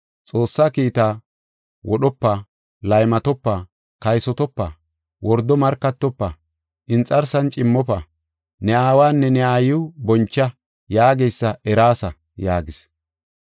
Xoossaa kiitaa, wodhopa; laymatopa; kaysotopa; wordo markatofa; inxarsan cimmofa; ne aawanne ne aayiw boncha yaageysa eraasa” yaagis.